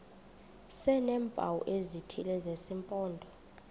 sineempawu ezithile zesimpondo